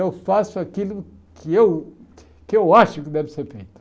Eu faço aquilo que eu que eu acho que deve ser feito.